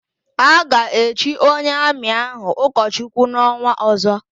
A ga-echi onye Amị ahụ ụkọchukwu n'ọnwa ọ̀zọ́.